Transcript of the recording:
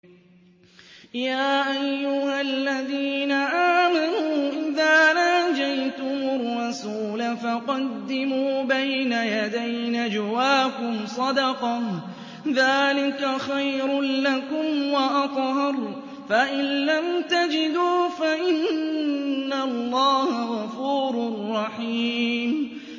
يَا أَيُّهَا الَّذِينَ آمَنُوا إِذَا نَاجَيْتُمُ الرَّسُولَ فَقَدِّمُوا بَيْنَ يَدَيْ نَجْوَاكُمْ صَدَقَةً ۚ ذَٰلِكَ خَيْرٌ لَّكُمْ وَأَطْهَرُ ۚ فَإِن لَّمْ تَجِدُوا فَإِنَّ اللَّهَ غَفُورٌ رَّحِيمٌ